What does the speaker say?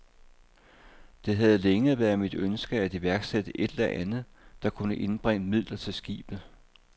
Det havde længe været mit ønske at iværksætte et eller andet, der kunne indbringe midler til skibet.